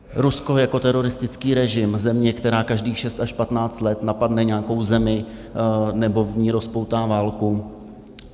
Rusko jako teroristický režim, země, která každých 6 až 15 let napadne nějakou zemi nebo v ní rozpoutá válku.